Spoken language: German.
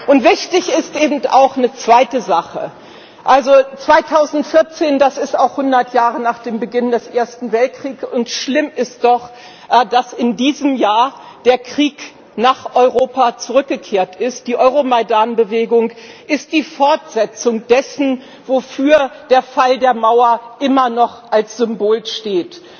Und wichtig ist eben auch eine zweite Sache 2014, das ist auch 100 Jahre nach dem Beginn des Ersten Weltkriegs und schlimm ist doch, dass in diesem Jahr der Krieg nach Europa zurückgekehrt ist, die Euromaidan Bewegung ist die Fortsetzung dessen, wofür der Fall der Mauer immer noch als Symbol steht.